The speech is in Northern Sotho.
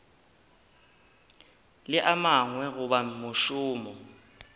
le a mangwe goba mošomo